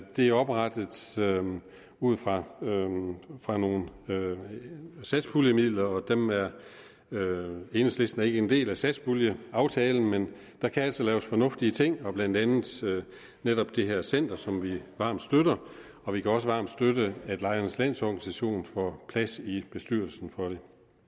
det er oprettet ud fra nogle fra nogle satspuljemidler og enhedslisten er ikke en del af satspuljeaftalen men der kan altså laves fornuftige ting blandt andet netop det her center som vi varmt støtter og vi kan også varmt støtte at lejernes landsorganisation får plads i bestyrelsen for